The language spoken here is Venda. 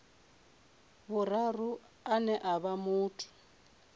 vhuraru ane a vha muthu